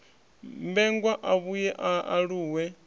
mmbengwa a vhuye a aluwe